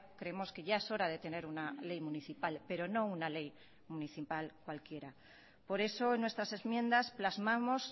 creemos que ya es hora de tener una ley municipal pero no una ley municipal cualquiera por eso en nuestras enmiendas plasmamos